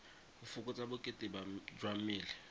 go fokotsa bokete jwa mmele